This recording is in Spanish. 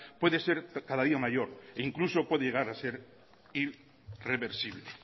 puede ser cada día mayor e incluso puede llegar a ser irreversible